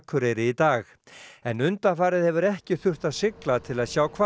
en undanfarið hefur ekki þurft að sigla til að sjá hval því hópur